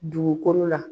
Dugukolo la